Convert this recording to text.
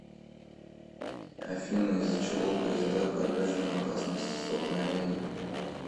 афина из за чего поезда подвержены опасности столкновений